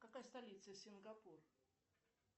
какая столица сингапур